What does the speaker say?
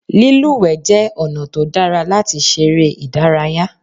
Lílùwẹ̀ jẹ́ ọ̀nà tó dára láti ṣeré ìdárayá.